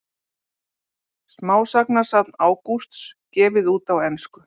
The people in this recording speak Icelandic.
Smásagnasafn Ágústs gefið út á ensku